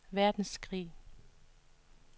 verdenskrig